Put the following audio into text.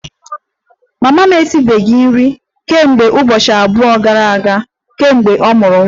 Mama m esibeghị nri kemgbe ụbọchị abụọ gara aga kemgbe ọ mụrụ nwa